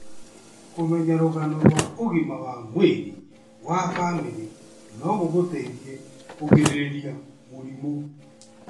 Kũmenya rũgano rwa ũgima wa mwĩrĩ wa famĩlĩ no gũgũteithie kũgirĩrĩria mũrimũ.